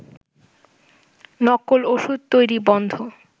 নকল ওষুধ তৈরি বন্ধ